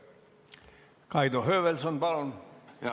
Kaido Höövelson, palun!